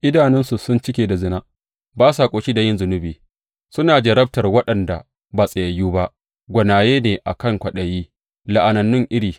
Idanunsu sun cike da zina, ba sa ƙoshi da yin zunubi; suna jarrabtar waɗanda ba tsayayyu ba; gwanaye ne a kan kwaɗayi, la’anannun iri!